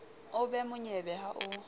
o be monyebe ha o